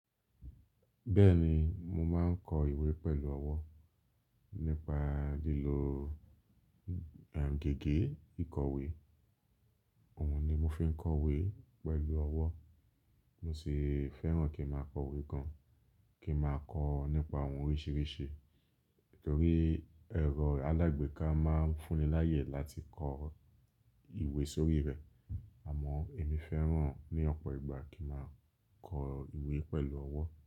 Bẹ́ẹ̀ni, mo máa ń kọ ìwé pẹ̀lú ọwọ́ nípa lílo, erm, gègé ìkọ̀wé. Òun ni mo fi ń kọ ìwé pẹ̀lú ọwọ́. Mo sì fẹ́ràn kí n máa kọ ìwé gan-an, kí n máa kọ nípa oun oríṣiríṣi. Nítorí ẹ̀rọ alágbèéká máa ń fún ni láyè láti kọ ìwé sórí rẹ̀. Àmọ́ èmi fẹ́ràn ní ọ̀pọ̀ ìgbà kí n máa kọ ìwé pẹ̀lú ọwọ́